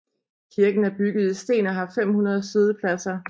Kirken er bygget i sten og har 500 siddepladser